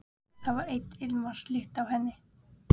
Það var enn ilmvatnslykt af henni.